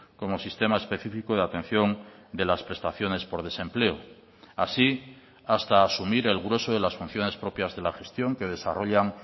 como sistema específico de atención de las prestaciones por desempleo así hasta asumir el grueso de las funciones propias de la gestión que desarrollan